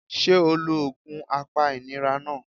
Sé o lo òògùn apa ìnira náà